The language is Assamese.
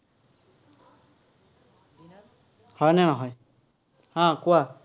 হয়নে নহয়? উম কোৱা।